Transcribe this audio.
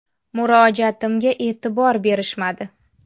Murojaatimga e’tibor berishmadi.